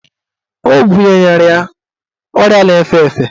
Ọ bunyere ya ọrịa na-efe efe.